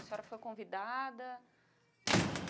A senhora foi convidada?